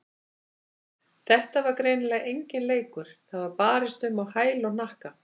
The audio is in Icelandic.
Þetta var greinilega enginn leikur, það var barist um á hæl og hnakka.